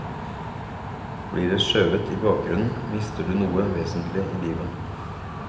Blir det skjøvet i bakgrunnen, mister du noe vesentlig i livet.